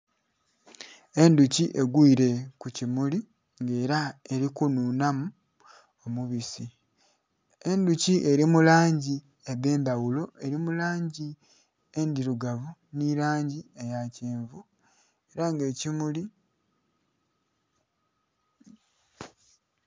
Endhuki egwile ku kimuli nga ela eli kunhunhamu omubisi. Endhuki eli mu langi edh'endhaghulo, eli mu langi endhilugavu nhi langi eya kyenvu, ela nga ekimuli...